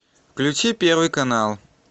включи первый канал